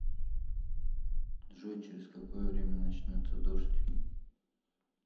джой через какое время начнется дождь